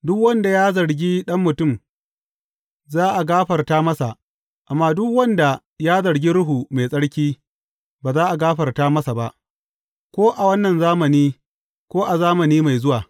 Duk wanda ya zargi Ɗan Mutum, za a gafarta masa, amma duk wanda ya zargi Ruhu Mai Tsarki, ba za a gafarta masa ba, ko a wannan zamani ko a zamani mai zuwa.